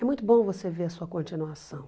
É muito bom você ver a sua continuação.